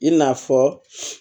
I n'a fɔ